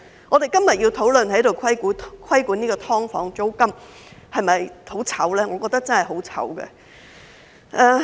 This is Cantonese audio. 我們今天要在這裏討論規管"劏房"租金，是否感到很羞耻呢？